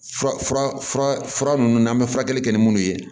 Fura fura ninnu n'an bɛ furakɛli kɛ ni minnu ye